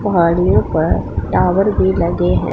पहाड़ियों पर टावर भी लगे हैं।